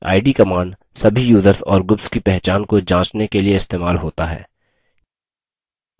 id – command सभी users और groups की पहचान को जाँचने के लिए इस्तेमाल होता है